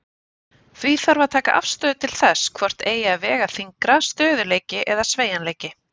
Því þarf að taka afstöðu til þess hvort eigi að vega þyngra, stöðugleiki eða sveigjanleiki.